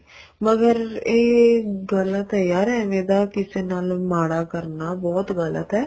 ਮਗਰ ਏ ਗ਼ਲਤ ਏ ਯਾਰ ਐਵੇ ਦਾ ਕਿਸੇ ਨਾਲ ਮਾੜਾ ਕਰਨਾ ਬਹੁਤ ਗ਼ਲਤ ਏ